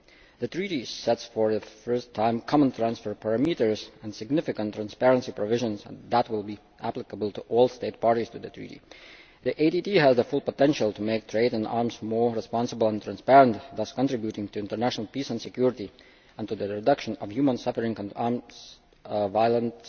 The Treaty sets, for the first time, common transfer parameters and significant transparency provisions that will be applicable to all state parties to the Treaty. The ATT has the full potential to make trade in arms more responsible and transparent, thus contributing to international peace and security and to the reduction of human suffering and arms violence